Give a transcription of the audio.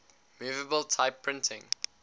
movable type printing